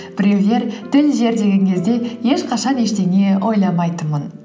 біреулер тіл жер деген кезде ешқашан ештеңе ойламайтынмын